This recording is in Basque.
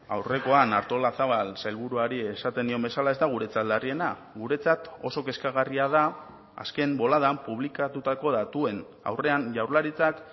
aurrekoan artolazabal sailburuari esaten nion bezala ez da guretzat larriena guretzat oso kezkagarria da azken boladan publikatutako datuen aurrean jaurlaritzak